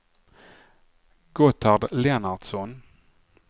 Gotthard Lennartsson